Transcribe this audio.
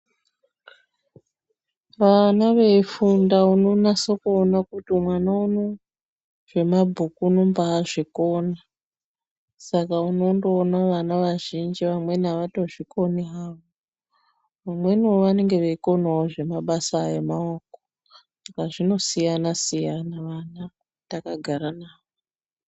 Vana veifunda unonasa kuona kuti mwana unou zvemabhuku unombaazvikona. Saka unondoona vana vazhinji vamweni avatozvikoni havo. Vamweni vanenge vachikonawo zvemabasa emaoko saka zvinosiyana siyana vana takagara navo.